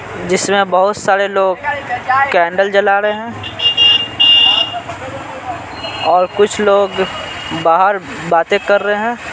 जिसमें बहुत सारे लोग कैंडल जला रहे हैं और कुछ लोग बाहर बातें कर रहे हैं।